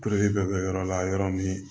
bɛ kɛ yɔrɔ la yɔrɔ min